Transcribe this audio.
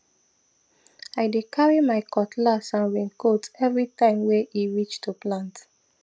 i dey carry my cutlass and raincoat every time way e reach to plant